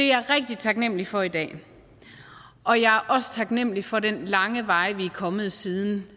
jeg rigtig taknemlig for i dag og jeg er også taknemlig for den lange vej vi sammen er kommet siden